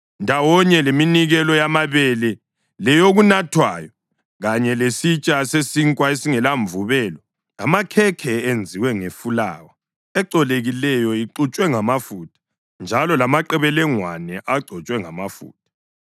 ndawonye leminikelo yamabele leyokunathwayo, kanye lesitsha sesinkwa esingelamvubelo, amakhekhe enziwe ngefulawa ecolekileyo ixutshwe ngamafutha, njalo lamaqebelengwane agcotshwe ngamafutha.